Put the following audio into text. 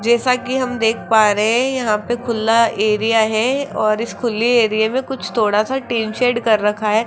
जैसा कि हम देख पा रहे हैं यहां पे खुला एरिया है और इस खुली एरिया में कुछ थोड़ा सा टीन शेड कर रखा है।